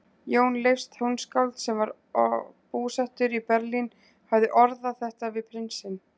Jón Leifs tónskáld, sem var búsettur í Berlín, hafði orðað þetta við prinsinn